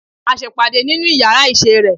A se ìpàdé nínú yàrá isé re